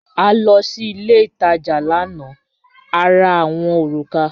A lọ sí ilẹ̀ itaja lána, à rà awọn orúkà.